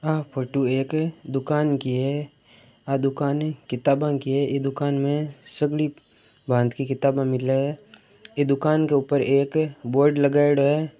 अह photo एक दुकान की है आ दुकाने किताबा की है एह दुकान मे सगली भांत की किताबे मिले है आ दुकान के ऊपर एक बोर्ड लगायोडो है।